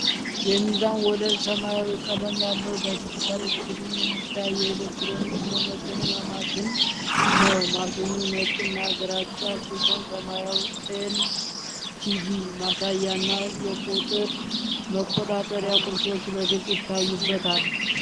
የሚዛን ወለል ሰማያዊ ቀለም ያለው፣ በዲጂታል ስክሪን የሚታይ የኤሌክትሮኒክስ መመዘኛ ማሽን ነው። ማሽኑ ነጭ እና ግራጫ ሲሆን፣ ሰማያዊ ኤል.ሲ.ዲ. ማሳያ እና የቁጥር መቆጣጠሪያ ቁልፎች በግልጽ ይታያሉ።